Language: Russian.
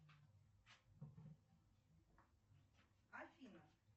афина